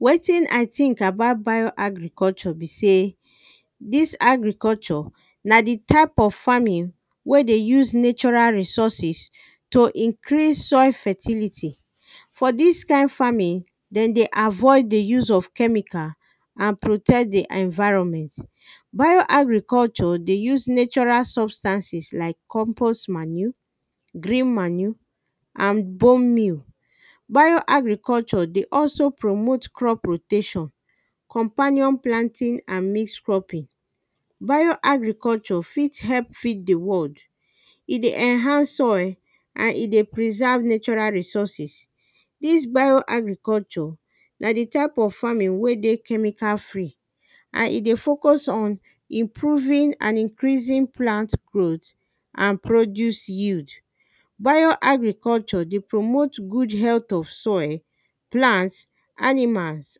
Wetin i think about bio agriculture be sey, dis agriculture, na the type of farming, wey dey use natural resources, to increase soil fertility. for dis kind farming, den dey avoid the use of chemical, and protect the enviroment. bio agriculture dey use natural substances like compost manue, green manue, and bone meal bio agriculture dey also promote crop rotation, companion planting and mix cropping. bio agriculture fit help feed the world, e dey enhance soil, and e dey preseve natural resouces. dis bio agriculture, na the type of farming wey dey chemical free, and e dey focus on improving and increasing plant growth, and produce yield. bio agriculture dey promote good health of soil, plants, animals,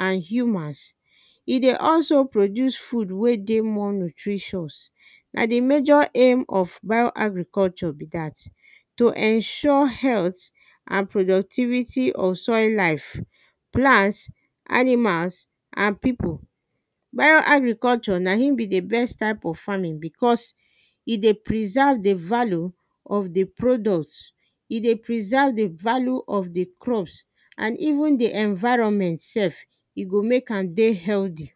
and humans. e dey also produce food wey dey more nutritious. na the major aim of bio agriculture be dat, to ensure health, and productivity of soil life, plants, animals, and pipu. bio agriculture na in be the best type of farming because, e dey preserve the value of the product, e dey preserve the value of the crops, and even the environment sef e go mek am dey healthy.